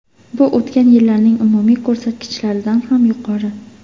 Bu o‘tgan yillarning umumiy ko‘rsatkichlaridan ham yuqori.